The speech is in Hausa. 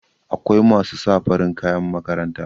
akwai masu sa farin kayan makaranta